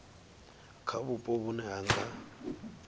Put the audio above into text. kha vhupo vhune ha nga